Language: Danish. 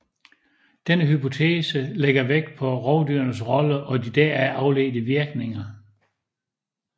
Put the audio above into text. Denne hypotese lægger vægt på rovdyrenes rolle og de deraf afledte virkninger